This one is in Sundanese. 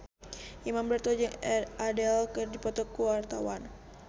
Imam Darto jeung Adele keur dipoto ku wartawan